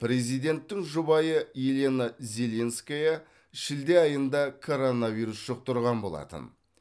президенттің жұбайы елена зеленская шілде айында коронавирус жұқтырған болатын